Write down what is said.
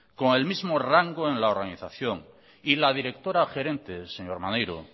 con el mismo rango en la organización y la directora gerente señor maneiro